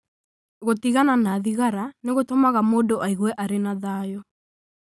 Gũtigana na thigara nĩ gũtũmaga mũndũ aigue arĩ na thayũ.